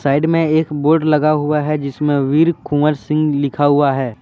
Side में एक board लगा हुआ है जिसमें वीर कुंवर सिंह लिखा हुआ है।